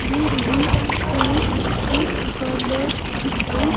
दे रही हैं एक दुकानदार दिखाई--